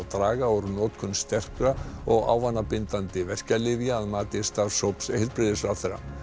draga úr notkun sterkra og ávanabindandi verkjalyfja að mati starfshóps heilbrigðisráðherra